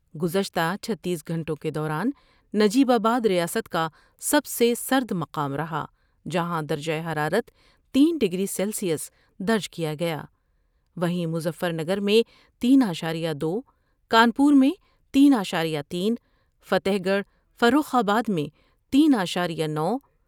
گزشتہ چھتیس گھنٹوں کے دوران نجیب آبا دریاست کا سب سے سرد مقام رہا ، جہاں درجہ حرارت تین ڈگری سیلسیس درج کیا گیا ، وہیں مظفر نگر میں تین اعشار یہ دو ، کانپور میں تین اعشاریہ تین ، فتح گڑھ فروخ آباد میں تین اعشاریہ نو ۔